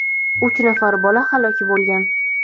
uch nafar bola halok bo‘lgan.